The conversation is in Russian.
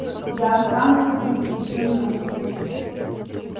я останусь здесь и вздремну